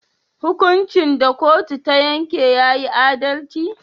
Hukuncin da kotu ta yanke tayi adalci?